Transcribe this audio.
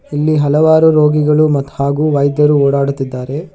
ಇಲ್ಲಿ ಹಲವಾರು ರೋಗಿಗಳು ಮತ್ ಹಾಗು ವೈದ್ಯರು ಓಡಾಡುತ್ತಿದ್ದಾರೆ.